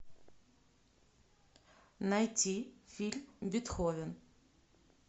найти фильм бетховен